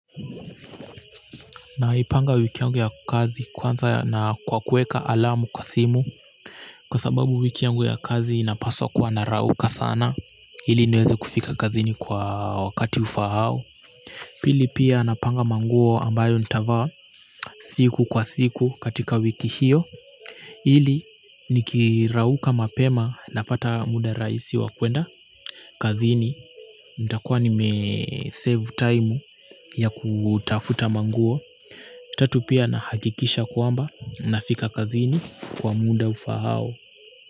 Naipanga wiki yangu ya kazi kwanza na kwa kuweka alamu kwa simu kwa sababu wiki yangu ya kazi inapaswa kwa narauka sana ili niweze kufika kazini kwa wakati ufaao pili pia napanga manguo ambayo nitavaa siku kwa siku katika wiki hiyo ili nikirauka mapema na pata muda rahisi wa kwenda kazini nitakuwa nime save time ya kutafuta manguo tatu pia nahakikisha kwamba nafika kazini kwa muda ufaao.